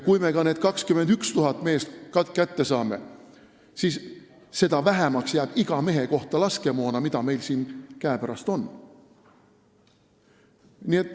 Kui me ka need 21 000 meest kätte saame, siis seda vähemaks jääb iga mehe kohta laskemoona, mis meil siin käepärast on.